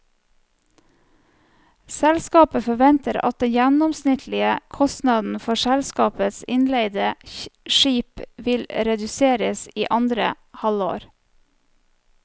Selskapet forventer at den gjennomsnittlige kostnaden for selskapets innleide skip vil reduseres i andre halvår.